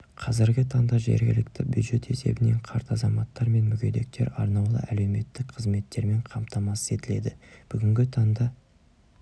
қазіргі таңда жергілікті бюджет есебінен қарт азаматтар мен мүгедектер арнаулы әлеуметтік қызметтермен қамтамасыз етіледі бүгінгі таңда